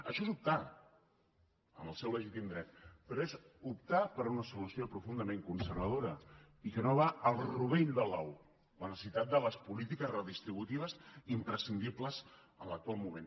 això és optar en el seu legítim dret però és optar per a una solució profundament conservadora i que no va al rovell de l’ou la necessitat de les polítiques redistributives imprescindibles en l’actual moment